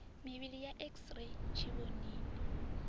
mivhili ya x ray tshivhonini